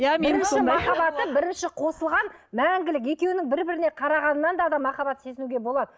бірінші қосылған мәңгілік екеуінің бір біріне қарағанынан да адам махаббат сезінуге болады